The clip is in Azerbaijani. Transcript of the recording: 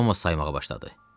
Thomas saymağa başladı.